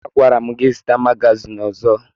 Agwara m gị zụta magazin ọzọ!